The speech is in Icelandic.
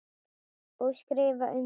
Og skrifa undir.